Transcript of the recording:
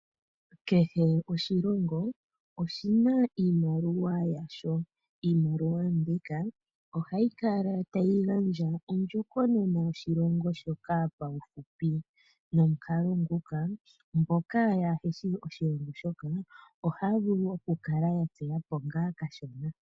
Kehe oshilongo oshina iimaliwa yaasho niimaliwa mbika oha yi kala tayi gandja ondjokonona yoshilongo shoka pauhupi nomukalo nguka mboka ya heshi oshilongo shoka ohaa vulu woo oku kala ya tseya po kashona.